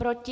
Proti?